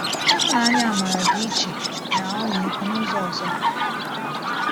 Ịhụnanya-amara dị iche na ọmịiko n’ụzọ ọzọ.